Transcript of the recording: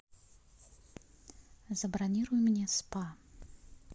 забронируй мне спа